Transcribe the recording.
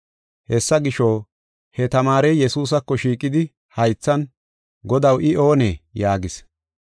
Hessa gisho, he tamaarey Yesuusako shiiqidi haythan, “Godaw, I oonee?” yaagis.